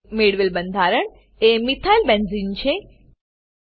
મેળવેલ બંધારણ એ મિથાઇલ બેન્ઝેને મિથાઈલ બેન્ઝીન છે